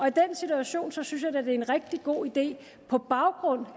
i den situation synes jeg da at det er en rigtig god idé